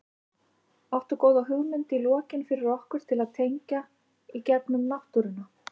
Áttu góða hugmynd í lokin fyrir okkur til að tengja í gegnum náttúruna?